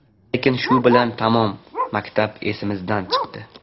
Lekin shu bilan tamom – maktab esimizdan chiqdi.